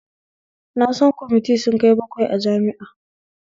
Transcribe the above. Na san kwamiti sun kai bakwai a jami'a